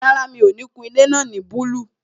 Rárá, mi ò ní kun ilé náà ní búlúù